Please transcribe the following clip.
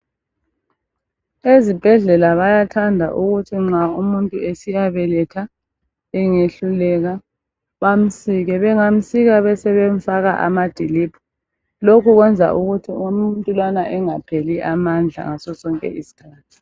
Ezibhedlela bayathanda ukuthi nxa umuntu esiya beletha engehluleka bamsike. Bengamsika besebe mfaka amadiliphu. Lokho kwenza ukuthi umuntu lowana engapheli amandla ngaso sonke isikhathi.